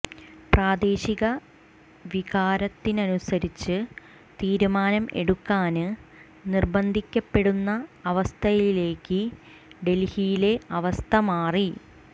പ്രാദേശിക വികാരത്തിനനുസരിച്ച് തീരുമാനം എടുക്കാന് നിര്ബന്ധിക്കപ്പെടുന്ന അവസ്ഥയിലേക്ക് ഡല്ഹിയിലെ അവസ്ഥ മാറി